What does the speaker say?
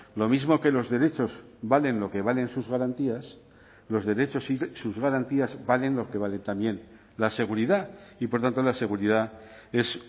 lo mismo que los derechos valen lo que valen sus garantías los derechos y sus garantías valen lo que vale también la seguridad y por tanto la seguridad es